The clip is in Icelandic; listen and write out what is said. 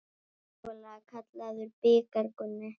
Mögulega kallaður bikar Gunni?